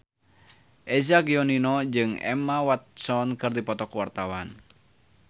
Eza Gionino jeung Emma Watson keur dipoto ku wartawan